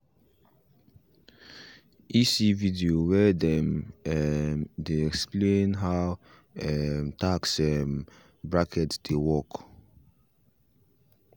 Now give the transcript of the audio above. he see video where them um dey explain how um tax um brackets dey work